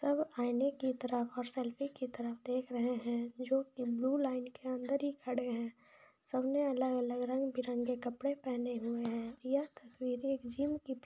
आयने की तरफ और सेल्फी की तरफ देख रहे है जो की ब्लू लाईन के अंदर ही खड़े है सब ने अलग अलग रंग बिरंग के कपड़े पहने हुए है यह तस्वीर एक जिम की--